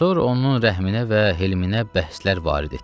Sonra onun rəhminə və helminə bəhslər varid etdilər.